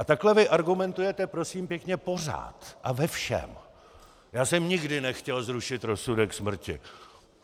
A takhle vy argumentujete, prosím pěkně, pořád a ve všem: Já jsem nikdy nechtěl zrušit rozsudek smrti.